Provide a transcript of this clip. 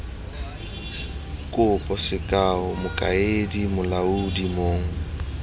kopo sekao mokaedi molaodi mong